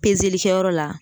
kɛyɔrɔ la